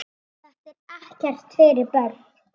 Þetta er ekkert fyrir börn!